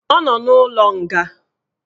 Ọ nọ n'ụlọ nga